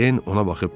Den ona baxıb dedi.